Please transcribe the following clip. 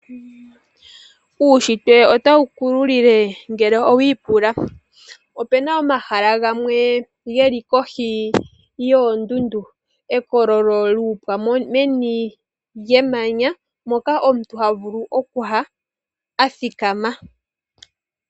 Uunshitwe otawu ku lulile ngele owiipula. Opuna omahala gamwe geli kohi yoondundu, ekololo lyuuha meni lyemanya, moka omuntu ha vulu okuya athikama.